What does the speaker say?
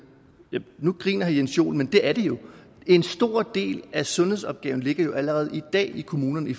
nu griner herre jens joel men det er det jo en stor del af sundhedsopgaven ligger jo allerede i dag i kommunerne i